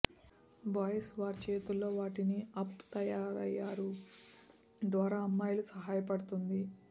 boys వారి చేతుల్లో వాటిని అప్ తయారయ్యారు ద్వారా అమ్మాయిలు సహాయపడుతుంది